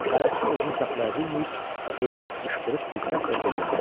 Bələdçi özünü saxlaya bilməyib heyrət qışqırıq bir səslə dilləndi.